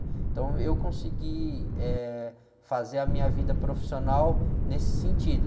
Então, eu consegui, eh, fazer a minha vida profissional nesse sentido.